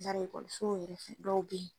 Larɛ so yɛrɛ dɔw be ye